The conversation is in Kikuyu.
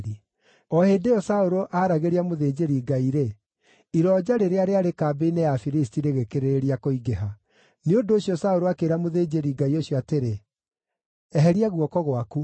O hĩndĩ ĩyo Saũlũ aaragĩria mũthĩnjĩri-Ngai-rĩ, ironja rĩrĩa rĩarĩ kambĩ-inĩ ya Afilisti rĩgĩkĩrĩrĩria kũingĩha. Nĩ ũndũ ũcio Saũlũ akĩĩra mũthĩnjĩri-Ngai ũcio atĩrĩ, “Eheria guoko gwaku.”